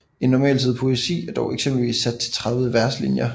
En normalside poesi er dog eksempelvis sat til 30 verslinjer